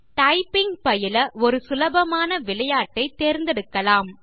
typing பயில ஒரு சுலபமாக விளையாட்டை தேர்ந்தெடுக்கலாம